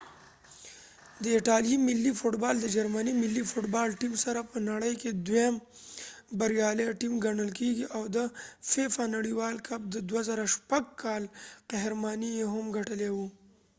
د ایټالیې ملي فټ بال د جرمني ملي فټ بال ټیم سره په نړۍ کې دیوم بریالۍ ټیم ګڼل کیږي او د فیفا نړیوال کپ د 2006 کال قهرماني یې هم ګټلې وه